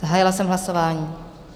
Zahájila jsem hlasování.